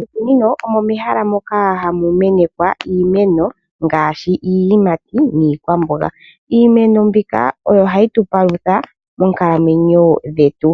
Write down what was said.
Moshikunino omo mehala moka hamu mene iimeno ngaashi iiyimati niikwamboga. Iimeno mbika oyo hayi tu palutha moonkalamwenyo dhetu.